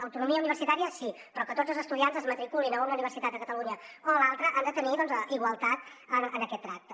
autonomia universitària sí però que tots els estudiants es matriculin a una universitat de catalunya o a l’altra han de tenir igualtat en aquest tracte